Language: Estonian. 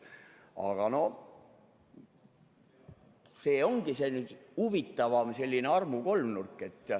Aga noh, see ongi selline huvitav armukolmnurk.